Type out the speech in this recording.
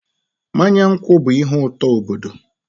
Mmanya nkwụ bụ ihe ụtọ obodo.